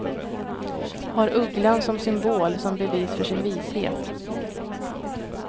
Har ugglan som symbol som bevis för sin vishet.